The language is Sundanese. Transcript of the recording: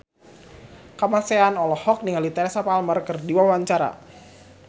Kamasean olohok ningali Teresa Palmer keur diwawancara